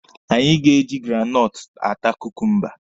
Anyị ga-eji granọtụ ata kukumba.